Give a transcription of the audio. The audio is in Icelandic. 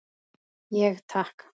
Ég: Takk.